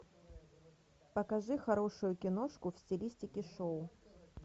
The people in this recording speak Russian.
покажи хорошую киношку в стилистике шоу